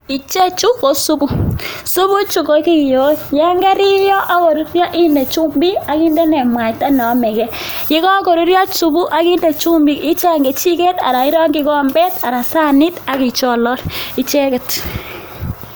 Ichechu ko supuu, supuu chuu kokiyoe, yoon keriyo ak korurio inde chumbik ak inde mwaita neomeke, yekokorurio supuu ak inde chumbik icheng kejiket aran irongyi kombet aran saniit ak icholol icheket.